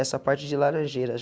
essa parte de laranjeira.